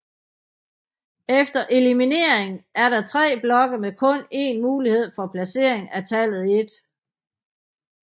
Efter elimineringen er der tre blokke med kun en mulighed for placering af tallet 1